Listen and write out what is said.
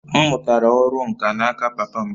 M mụtara ọrụ nkà n'aka papa m